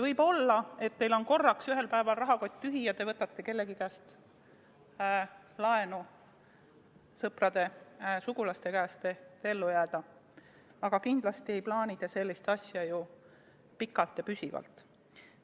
Võib olla, et teil on korraks ühel päeval rahakott tühi ja te võtate kellegi käest laenu, sõprade-sugulaste käest, et ellu jääda, aga kindlasti ei plaani te sellist asja ju pikalt ja püsivalt.